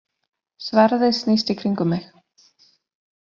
Sverðið snýst í kringum mig.